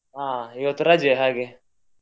ಹಾ ಇವತ್ತು ರಜೆ ಹಾಗೆ.